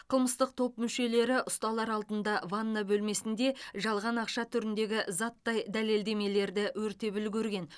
қылмыстық топ мүшелері ұсталар алдында ванна бөлмесінде жалған ақша түріндегі заттай дәлелдемелерді өртеп үлгерген